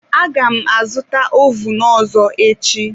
Aga m azụta ovun ọzọ echi.